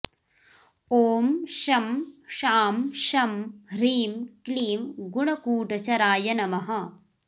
ॐ शं शां षं ह्रीं क्लीं गुणकूटचराय नमः